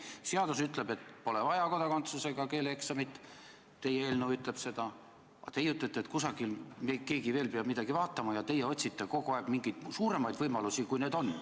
Seadus ütleb, et pole vaja kodakondsus- ega keeleeksamit – teie eelnõu ütleb seda –, aga teie ütlete, et kusagil peab keegi veel midagi vaatama ja et teie otsite kogu aeg mingeid suuremaid võimalusi, kui need on.